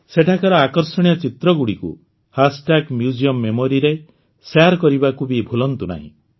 ସେଠାକାର ଆକର୍ଷଣୀୟ ଚିତ୍ରଗୁଡ଼ିକୁ ହ୍ୟାସ୍ଟ୍ୟାଗ୍ ମ୍ୟୁଜିୟମ Memoryରେ ଶେୟାର କରିବାକୁ ବି ଭୁଲନ୍ତୁ ନାହିଁ